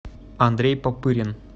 андрей попырин